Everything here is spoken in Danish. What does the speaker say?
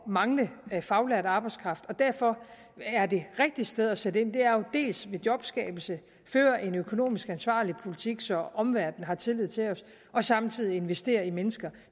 mangle faglært arbejdskraft derfor er det rigtige sted at sætte ind dels ved jobskabelse dels at føre en økonomisk ansvarlig politik så omverdenen har tillid til os og samtidig investere i mennesker